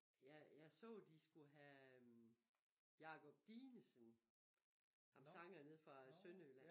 Jeg jeg så de skulle have Jacob Dinesen ham sangeren nede fra Sønderjylland